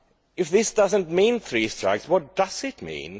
If this does not mean three strikes, what does it mean?